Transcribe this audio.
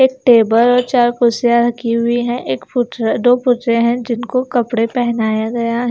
एक टेबल और चार कुर्सियाँ रखी हुई हैं एक पुतले दो पुतले हैं जिनको कपड़े पहनाया गया है।